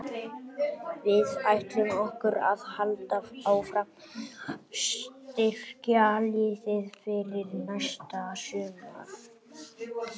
Við ætlum okkur að halda áfram að styrkja liðið fyrir næsta sumar.